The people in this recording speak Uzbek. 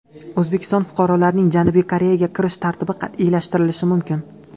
O‘zbekiston fuqarolarining Janubiy Koreyaga kirish tartibi qat’iylashtirilishi mumkin.